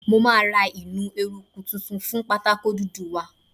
Mo máa ra eruku tuntun fún pátákó dúdú wa.